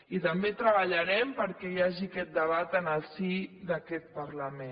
i també treballarem perquè hi hagi aquest debat en el si d’aquest parlament